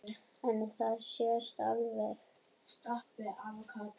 En það sést alveg.